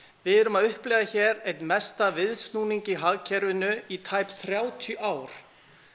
við erum að upplifa hér einn mesta viðsnúning í hagkerfinu í tæp þrjátíu ár